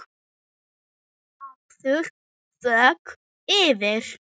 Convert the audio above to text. Hafðu þökk fyrir.